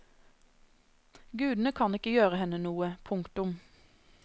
Gudene kan ikke gjøre henne noe. punktum